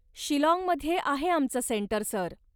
शिलाँगमध्ये आहे आमचं centre, sir.